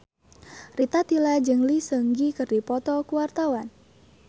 Rita Tila jeung Lee Seung Gi keur dipoto ku wartawan